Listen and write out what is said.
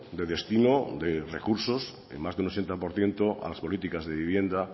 de destino de recursos en más de un ochenta por ciento a las políticas de vivienda